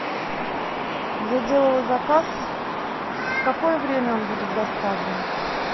я делала заказ в какое время он будет доставлен